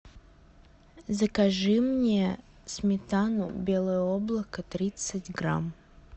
закажи мне сметану белое облако тридцать грамм